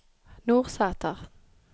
Nordsæter